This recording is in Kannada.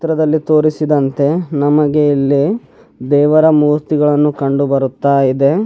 ಚಿತ್ರದಲ್ಲಿ ತೋರಿಸಿದಂತೆ ನಮಗೆ ಇಲ್ಲಿ ದೇವರ ಮೂರ್ತಿಗಳನ್ನು ಕಂಡು ಬರುತ್ತಾ ಇದೆ.